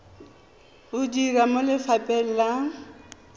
o dira mo lefapheng la